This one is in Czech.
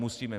Musíme!